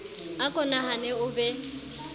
a ko nahane o be